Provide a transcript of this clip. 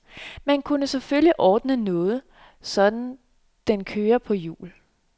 Man kunne selvfølgelig ordne noget, så den kører på hjul.